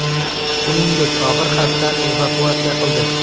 Shuningdek, og‘ir xastani evakuatsiya qildi.